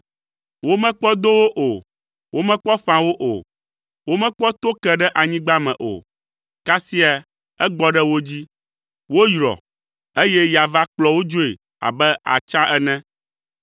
Womekpɔ do wo o, womekpɔ ƒã wo o, womekpɔ to ke ɖe anyigba me o, kasia egbɔ ɖe wo dzi, woyrɔ, eye ya va kplɔ wo dzoe abe atsa ene.